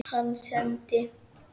Hann sendi